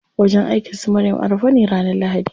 Wajen aikin su Maryam a rufe ne ranar lahadi.